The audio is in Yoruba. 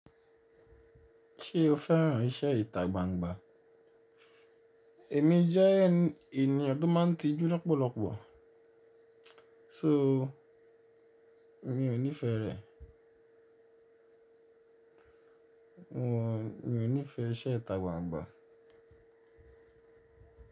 Ṣé o fẹ́ràn iṣẹ́ ìtà gbangba? Èmi jẹ́ ènìyàn tó máa ń tijú lọ́pọ̀lọpọ̀, sóò mi ò nífẹ̀ẹ rẹ̀. Wọ́n, mi ò nífẹ̀ẹ iṣẹ́ ìtà gbangba.